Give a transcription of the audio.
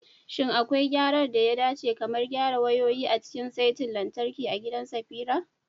Shin akwai gyaran da ya dace, kamar gyara wayoyin, a cikin saitin lantarki a gidan Safira?